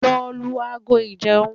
Lọ lu ago ìjẹun!